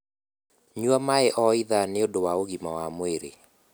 Nyua maĩ o ithaa nĩũndũ wa ũgima wa mwĩrĩ